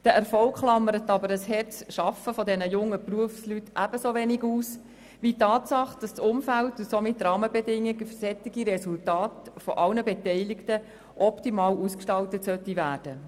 Dieser Erfolg klammert aber die harte Arbeit dieser Berufsleute ebenso wenig aus wie die Tatsache, dass die Rahmenbedingungen für solche Resultate von allen Beteiligten optimal ausgestaltet werden sollten.